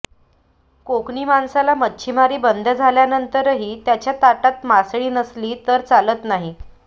कोकणी माणसाला मच्छीमारी बंद झाल्यानंतरही त्याच्या ताटात मासळी नसली तर चालत नाही